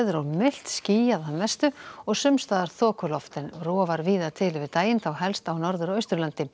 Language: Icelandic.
og milt skýjað að mestu og sums staðar þokuloft en rofar víða til yfir daginn þá helst á norður og austurlandi